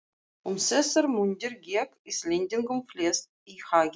Um þessar mundir gekk Íslendingunum flest í haginn.